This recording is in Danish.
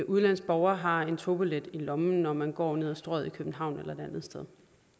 udenlandsk borger har en togbillet i lommen når man går ned ad strøget i københavn eller et andet sted